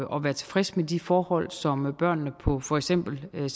og være tilfredse med de forhold som børnene på for eksempel